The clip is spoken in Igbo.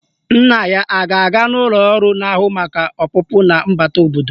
Nna ya a ga-aga n'ụlọ ọrụ na-ahụ maka ọpụpụ na mbata obodo?